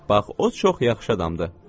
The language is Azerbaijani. Bax, o çox yaxşı adamdır.